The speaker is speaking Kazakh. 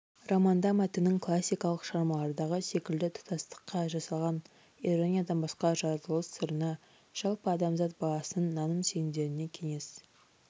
романда мәтіннің классикалық шығармалардағы секілді тұтастыққа жасалған ирониядан басқа жаратылыс сырына жалпы адамзат баласының наным-сенімдеріне кеңес